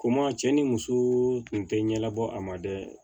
Ko maa cɛ ni muso tun tɛ ɲɛbɔ a ma dɛ